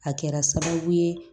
A kɛra sababu ye